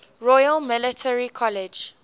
royal military college